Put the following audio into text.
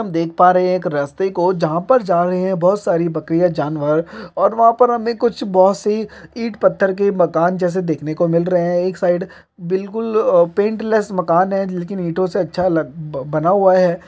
हम देख पा रहे हैं एक रास्ते को जहाँ पर जा रहे है बहुत सारी बकरियाँ जानवर और वहाँ पर हमें कुछ बहुत सी ईंट पत्थर की मकान जैसे देखने को मिल रहे है एक साइड बिल्कुल पैंट-लेस मकान है लेकिन ईंटों से अच्छा लग बना हुआ है।